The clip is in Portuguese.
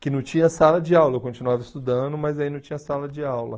Que não tinha sala de aula, eu continuava estudando, mas aí não tinha sala de aula.